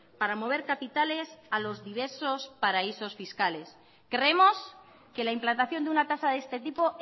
para mover capitales a los diversos paraísos fiscales creemos que la implantación de una tasa de este tipo